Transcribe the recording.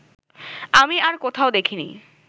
আমি আর কোথাও দেখিনি